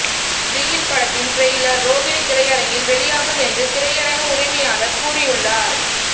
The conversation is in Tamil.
பிகில் படத்தின் ட்ரெய்லர் ரோஹினி திரையரங்கில் வெளியாகும் என்று திரையரங்க உரிமையாளர் கூறியுள்ளார்